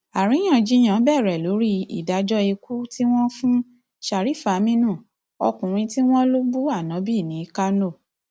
àríyànjiyàn bẹrẹ lórí ìdájọ ikú tí wọn fún sharifaminu ọkùnrin tí wọn lọ bú anabi ní kánò